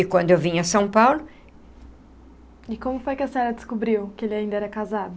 E quando eu vinha a São Paulo... E como foi que a senhora descobriu que ele ainda era casado?